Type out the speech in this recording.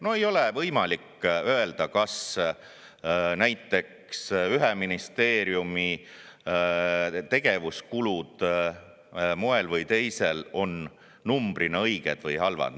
No ei ole võimalik öelda, kas näiteks ühe ministeeriumi tegevuskulud moel või teisel on numbrina õiged või halvad.